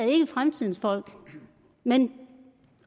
ikke er fremtidens folk men